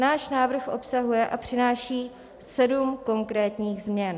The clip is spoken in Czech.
Náš návrh obsahuje a přináší sedm konkrétních změn.